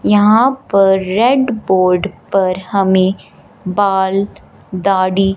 यहां पर red board पर हमें बाल दाढ़ी--